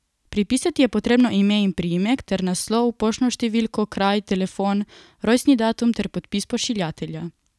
Pripisati je potrebno ime in priimek ter naslov, poštno številko, kraj, telefon, rojstni datum ter podpis pošiljatelja.